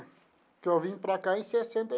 Que eu vim para cá em sessenta.